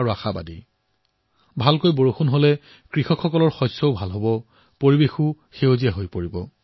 বৰষুণ ভাল হলে আমাৰ কৃষকসকলৰ খেতিবাতিও ভাল হব